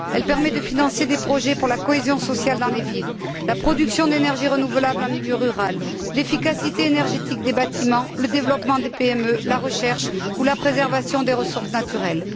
Elle permet de financer des projets pour la cohésion sociale dans les villes, la production d'énergie renouvelable en milieu rural, l'efficacité énergétique des bâtiments, le développement des PME, la recherche ou la préservation des ressources naturelles.